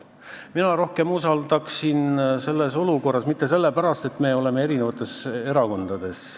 Mina usaldaksin selles olukorras rohkem spetsialiste ja mitte sellepärast, et me oleme erinevates erakondades.